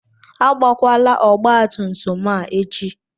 Agbakwala ọgbatumtum a echi!